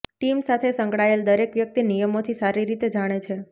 team સાથે સંકળાયેલ દરેક વ્યક્તિ નિયમોથી સારી રીતે જાણે છે